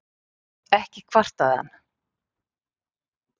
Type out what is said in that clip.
Ekki kvartaði hann.